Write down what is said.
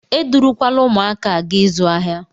Edurukwala ụmụaka a gaa ịzụ ahịa!